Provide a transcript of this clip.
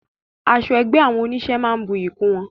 Aṣọ ẹgbẹ́ àwọn onísé máa ń buyí kún wọn